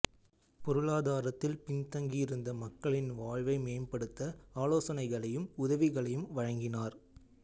பொருளாதாரத்தில் பின்தங்கியிருந்த மக்களின் வாழ்வை மேம்படுத்த ஆலோசனைகளையும் உதவிகளையும் வழங்கினார்